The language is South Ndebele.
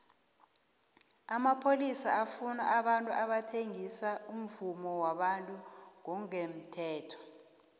amapholisa afuna abantu abathengisa umvumo wabantu ngongemthetho